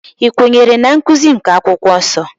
I kwenyere na nkụzi nke akwụkwọ nsọ?